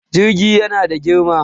Jirgi yana da girma.